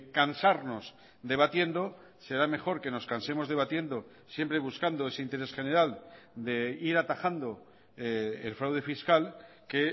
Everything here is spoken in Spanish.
cansarnos debatiendo será mejor que nos cansemos debatiendo siempre buscando ese interés general de ir atajando el fraude fiscal que